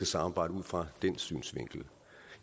samarbejde ud fra den synsvinkel